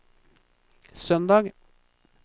søndag